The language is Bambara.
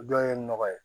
Dɔ ye nɔgɔ ye